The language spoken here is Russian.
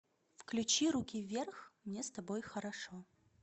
включи руки вверх мне с тобой хорошо